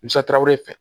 fɛ